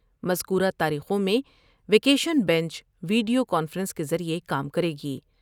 مذکورہ تاریخوں میں vacation bench video conference کے ذریعہ کام کرے گی۔